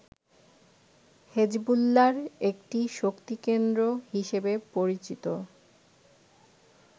হেজবুল্লাহর একটি শক্তিকেন্দ্র হিসেবে পরিচিত